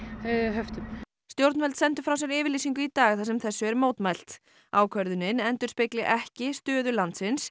höftum stjórnvöld sendu frá sér yfirlýsingu í dag þar sem þessu er mótmælt ákvörðunin endurspegli ekki stöðu landsins